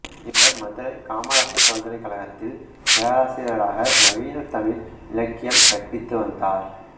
இவர் மதுரை காமராசர் பல்கலைக்கழகத்தில் பேராசிரியராக நவீனத் தமிழ் இலக்கியம் கறிபித்துவந்தார்